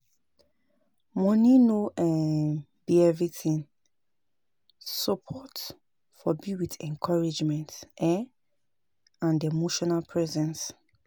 Money no um be everything, support for be with encouragement um and emotional presence